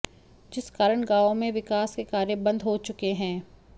जिस कारण गांवों में विकास के कार्य बंद हो चुके हैं